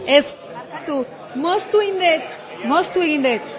dut moztu egin dut ez barkatu moztu egin dut